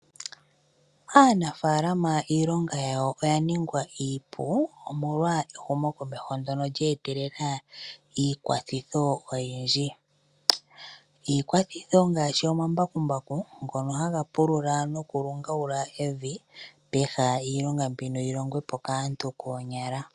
Aanafalama iilonga yawo oya ningwa iipu, omolwa ehumokomeho ndyono lye etelela iikwathitho oyindji. Iikwathitho ngaashi omambakumbaku ngono haga pulula nokulungagula evi peha iilonga mbino yi longwe po kaantu koonyala.